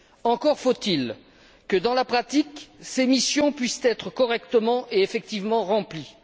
Encore faut il que, dans la pratique, ces missions puissent être correctement et effectivement remplies.